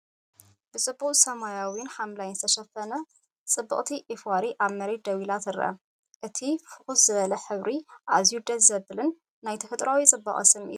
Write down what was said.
ብድሙቕ ሰማያውን ሐምላይን ዝተሸፈነት ጽብቕቲ ዑፍ ዋሪ ኣብ መሬት ደው ኢላ ትርአ። እቲ ፍኹስ ዝበለ ሕብሪ ኣዝዩ ደስ ዘብልን ናይ ተፈጥሮኣዊ ጽባቐ ስምዒት ዝፈጥርን እዩ።